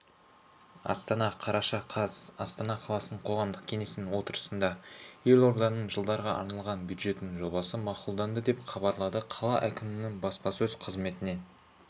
астана қараша қаз астана қаласының қоғамдық кеңесінің отырысында елорданың жылдарға арналған бюджетінің жобасы мақұлданды деп хабарлады қала әкімдігінің баспасөз қызметінен